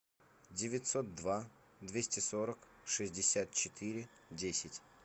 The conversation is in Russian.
девятьсот два двести сорок шестьдесят четыре десять